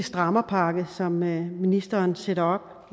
strammerpakke som ministeren sætter